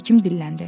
Həkim dilləndi.